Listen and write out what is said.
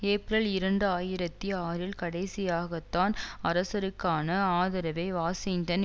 April இரண்டு ஆயிரத்தி ஆறில் கடைசியாகத்தான் அரசருக்கான ஆதரவை வாஷிங்டன்